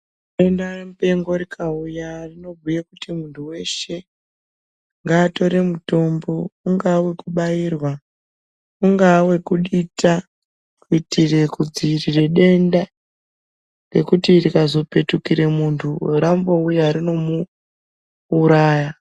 Denda mupengo rikauya rinobhuye kuti muntu weshe ngaatore mutombo, ungaa wekubairwa ungaa wekudita. Kuitire kudziirire denda ngekuti rikazopetukire muntu rambouya rinomuuraya.